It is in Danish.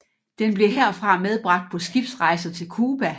Den blev herfra medbragt på skibsrejser til Cuba